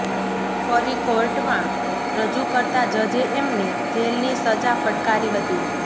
ફરી કોર્ટમાં રજૂ કરતા જજે એમને જેલની સજા ફટકારી હતી